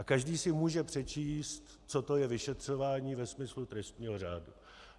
A každý si může přečíst, co to je vyšetřování ve smyslu trestního řádu.